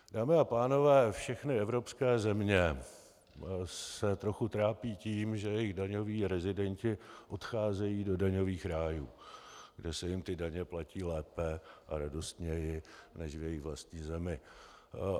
Dámy a pánové, všechny evropské země se trochu trápí tím, že jejich daňoví rezidenti odcházejí do daňových rájů, kde se jim ty daně platí lépe a radostněji než v jejich vlastní zemi.